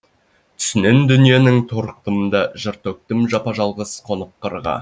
түсінен дүниенің торықтым да жыр төктім жапа жалғыз қонып қырға